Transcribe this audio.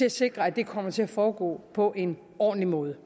at sikre at det kommer til at foregå på en ordentlig måde